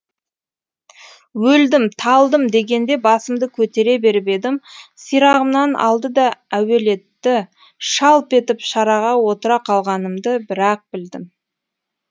өлдім талдым дегенде басымды көтере беріп едім сирағымнан алды да әуелетті шалп етіп шараға отыра қалғанымды бір ақ білдім